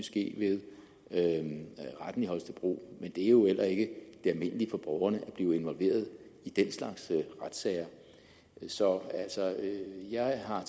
ske ved retten i holstebro men det er jo heller ikke det almindelige for borgerne at blive involveret i den slags retssager så jeg har